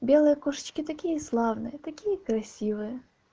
белые кошечки такие славные такие красивые